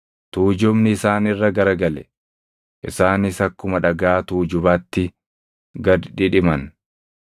Tuujubni isaan irra gara gale; isaanis akkuma dhagaa tuujubatti gad dhidhiman.